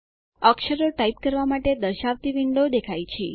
અક્ષરો ટાઇપ કરવા માટે દર્શાવતી વિન્ડો દેખાય છે